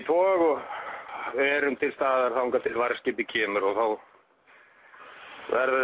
og verðum til staðar þar til varðskipið kemur og þá verður